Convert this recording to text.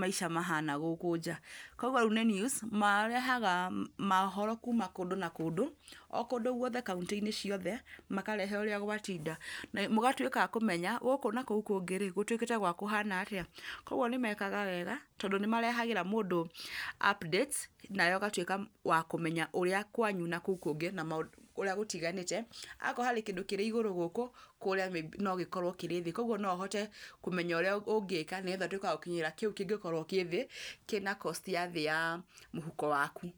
maica mahana gũkũ nja, kũguo rĩu nĩ news marehaga mohoro kuma kũndũ na kũndũ, o kũndũ guothe kaũntĩ-inĩ ciothe, makarehe ũrĩa gwatinda. Mũgatuĩka a kũmenya, gũkũ na kou kũngĩ-rĩ gũtuĩkĩte gwa kũhana atĩa. Kũguo nĩ mekaga wega, tondũ nĩ marehagĩra mũndũ updates nawe ũgatuĩka wa kũmenya ũrĩa kwanyu na kou kũngĩ ũrĩa gũtiganĩte. Akorwo harĩ kĩndũ kĩrĩ igũrũ gũkũ, kũrĩa no gĩkorwo kĩrĩ thĩ, kũguo no ũhote kũmenya ũrĩa ũngĩka nĩgetha ũtuĩke wa gũkinyĩra kĩu kĩngĩkorwo kĩ thĩ, kĩna cost ya thĩ ya mũhuko waku.